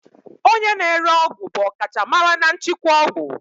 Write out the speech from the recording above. Onye na-ere ọgwụ bụ ọkachamara na nchịkwa ọgwụ.